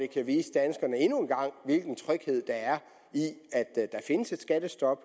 kan vise danskerne hvilken tryghed der er i at der findes et skattestop